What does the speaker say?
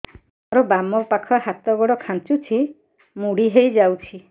ମୋର ବାମ ପାଖ ହାତ ଗୋଡ ଖାଁଚୁଛି ମୁଡି ହେଇ ଯାଉଛି